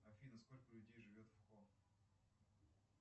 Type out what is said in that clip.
афина сколько людей живет в